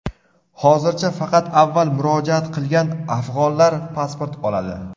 Hozircha faqat avval murojaat qilgan afg‘onlar pasport oladi.